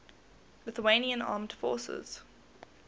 lithuanian armed forces